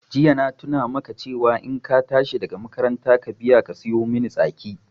Jiya na tuna maka cewa in ka tashi daga makaranta ka biya ka siyomin tsaki